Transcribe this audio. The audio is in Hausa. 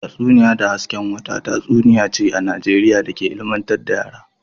Tatsuniya da hasken wata tatsuniya ce ta Najeriya da ke ilmantar da yara